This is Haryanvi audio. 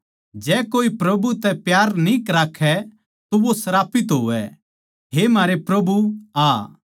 जै कोए प्रभु तै प्यार न्ही राक्खै तो वो श्रापित होवै हे म्हारे प्रभु आ